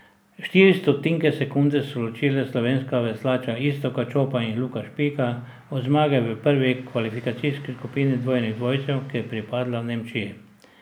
Štiri stotinke sekunde so ločile slovenska veslača Iztoka Čopa in Luka Špika od zmage v prvi kvalifikacijski skupini dvojnih dvojcev, ki je pripadla Nemčiji.